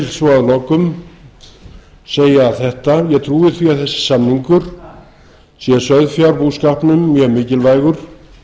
svo að lokum segja þetta ég trúi því að þessi samningur sé sauðfjárbúskapnum mjög mikilvægur